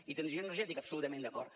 i transició energètica absolutament d’acord